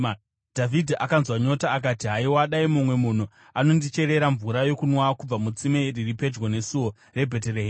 Dhavhidhi akanzwa nyota akati, “Haiwa, dai mumwe munhu ainondicherera mvura yokunwa kubva mutsime riri pedyo nesuo reBheterehema!”